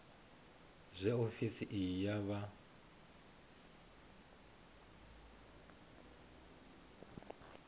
zwe ofisi iyi ya vha